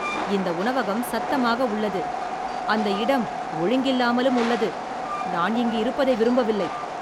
இந்த உணவகம் சத்தமாக உள்ளது, அந்த இடம் ஒழுங்கில்லாமலும் உள்ளது, நான் இங்கு இருப்பதை விரும்பவில்லை.